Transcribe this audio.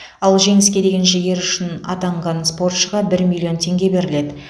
ал жеңіске деген жігері үшін атанған спортшыға бір миллион теңге беріледі